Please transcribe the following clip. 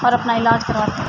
اور اپنا علاج کراتے ہے۔